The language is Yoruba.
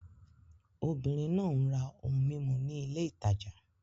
Obìnrin náà ń ra ohun mímu ní ilé ìtajà.